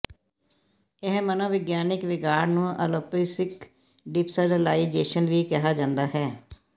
ਇਹ ਮਨੋਵਿਗਿਆਨਕ ਵਿਗਾੜ ਨੂੰ ਅਲੋਪਿਸੀਕ ਡਿਪਸਰਲਲਾਈਜੇਸ਼ਨ ਵੀ ਕਿਹਾ ਜਾਂਦਾ ਹੈ